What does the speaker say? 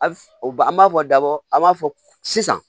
A ba an b'a fɔ daba a b'a fɔ sisan